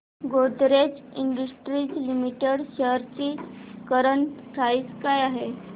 Godrej industries limited shares ची current price काय आहे